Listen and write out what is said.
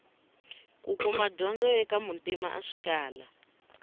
kukuma dyondzo eka muntima a swi kala